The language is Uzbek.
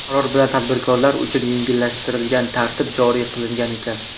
Qaror bilan tadbirkorlar uchun yengillashtirilgan tartib joriy qilingan ekan.